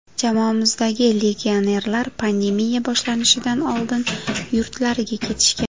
Jamoamizdagi legionerlar pandemiya boshlanishidan oldin yurtlariga ketishgan.